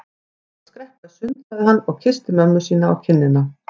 Ég ætla að skreppa í sund sagði hann og kyssti mömmu sína á kinnina.